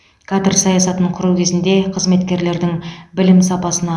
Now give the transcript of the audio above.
кадр саясатын құру кезінде қызметкерлердің білім сапасына